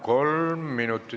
Kolm minutit.